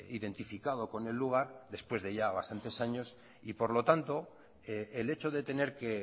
identificado con el lugar después de ya bastantes años y por lo tanto el hecho de tener que